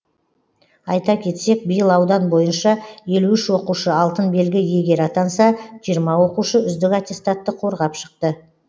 айта кетсек биыл аудан бойынша елу үш оқушы алтын белгі иегері атанса жиырма оқушы үздік аттестатты қорғап шықты